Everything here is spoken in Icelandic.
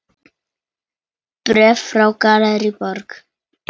Bréf frá Gallerí Borg.